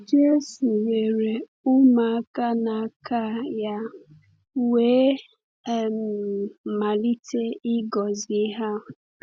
Jésù weere ụmụaka n’aka ya wee um malite ịgọzi ha.